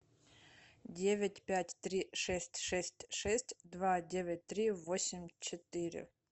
девять пять три шесть шесть шесть два девять три восемь четыре